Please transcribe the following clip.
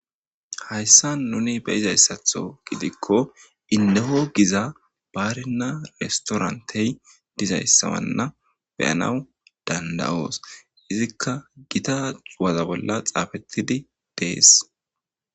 Hayissanni nuni be'izayisaththo giddikko ineho Giza barinna irissitoranitteyi dizayissawana be'anass danida'osi .